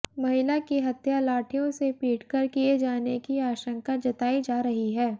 महिला की हत्या लाठियों से पीटकर किए जाने की आशंका जताई जा रही है